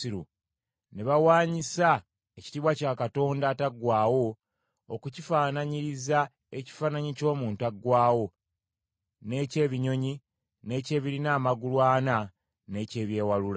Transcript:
ne bawanyisa ekitiibwa kya Katonda ataggwaawo okukifaananyiriza ekifaananyi ky’omuntu aggwaawo, n’eky’ebinyonyi, n’eky’ebirina amagulu ana n’eky’ebyewalula.